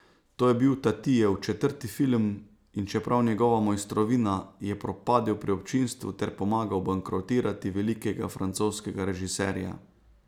To je bil Tatijev četrti film, in čeprav njegova mojstrovina, je propadel pri občinstvu ter pomagal bankrotirati velikega francoskega režiserja.